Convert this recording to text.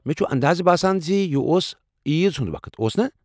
مےٚ چُھ اندازٕ باسان زِ یہ اوس عیٖز ہنٛد وقت؟ اوس نا؟